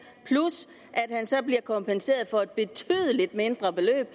plus at han så bliver kompenseret for et betydelig mindre beløb